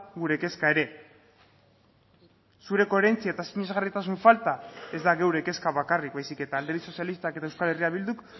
gure kezka ere zure koherentzia eta sinesgarritasun falta ez da geure kezka bakarrik baizik eta alderdi sozialistak eta euskal herria bilduk